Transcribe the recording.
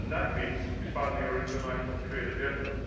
That means expanding our international trade agenda.